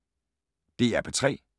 DR P3